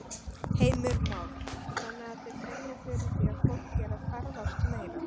Heimir Már: Þannig að þið finnið fyrir því að fólk er að ferðast meira?